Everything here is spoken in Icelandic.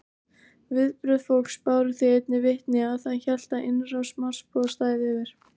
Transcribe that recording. Viðbrögð fólks báru því einnig vitni að það hélt að innrás Marsbúa stæði yfir.